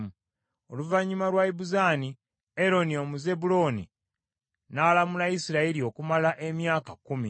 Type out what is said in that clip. Oluvannyuma lwa Ibuzaani, Eroni Omuzebbulooni, n’alamula Isirayiri okumala emyaka kkumi.